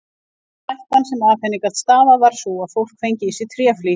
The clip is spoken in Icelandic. Eina hættan sem af henni gat stafað var sú að fólk fengi í sig tréflís.